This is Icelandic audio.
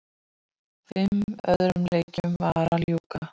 Fimm öðrum leikjum var að ljúka